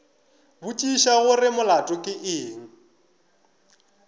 botšiša gore molato ke eng